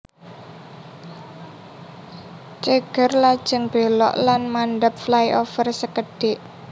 Ceger lajeng belok lan mandhap flyover sekedhik